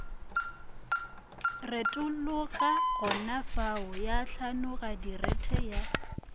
retologa gonafao ya hlanoladirethe ya